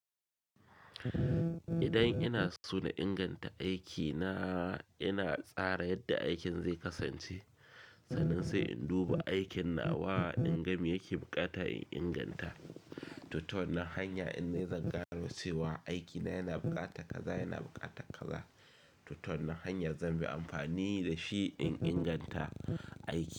Idan ina so na inganta aikina, ina tsara yadda aikin zai kasance, sannan sai in duba aikin na wa dingami yake buƙata in inganta. To ta wannan hanya dinne zangano cewa aikina yana buƙata kaza, yana buƙata kaza. To to nan hanya zan bi amfani da shi in inganta aikin.